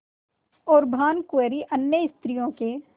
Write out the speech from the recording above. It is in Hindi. और भानुकुँवरि अन्य स्त्रियों के